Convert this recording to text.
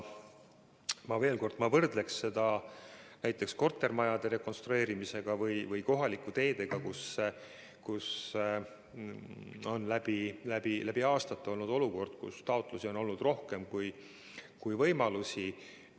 Ma veel kord võrdleksin seda näiteks kortermajade rekonstrueerimise või kohalike teedega, mille puhul on läbi aastate olnud olukord selline, et taotlusi on olnud rohkem kui võimalusi.